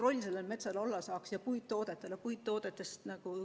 Ja meie metsal saaks olla suur roll, samuti puittoodetel.